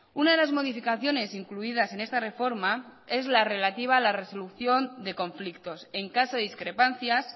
una de las modificaciones incluidas en esta reforma es la relativa a la resolución de conflictos en caso de discrepancias